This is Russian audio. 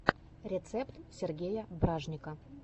рецепт сергея бражника